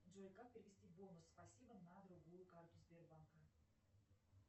джой как перевести бонус спасибо на другую карту сбербанка